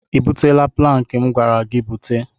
Ị butela plankị m gwara gị bute?